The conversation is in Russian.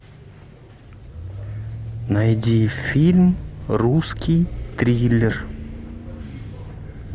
найди фильм русский триллер